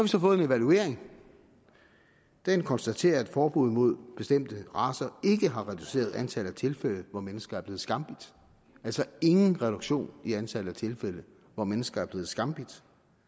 så fået en evaluering den konstaterer at forbuddet mod bestemte racer ikke har reduceret antallet af tilfælde hvor mennesker er blevet skambidt altså ingen reduktion i antallet af tilfælde hvor mennesker er blevet skambidt